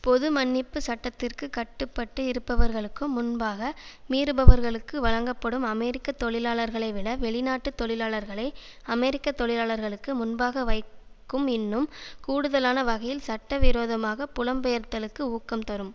பொது மன்னிப்பு சட்டத்திற்கு கட்டுப்பட்டு இருப்பவர்களுக்கு முன்பாக மீறுபவர்களுக்கு வழங்கப்படும் அமெரிக்க தொழிலாளர்களைவிட வெளிநாட்டு தொழிலாளர்களை அமெரிக்க தொழிலாளர்களுக்கு முன்பாக வைக்கும் இன்னும் கூடுதலான வகையில் சட்ட விரோதமாக புலம்பெயர்தலுக்கு ஊக்கம் தரும்